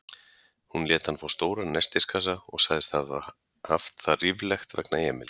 Hún lét hann fá stóran nestiskassa og sagðist hafa haft það ríflegt vegna Emils.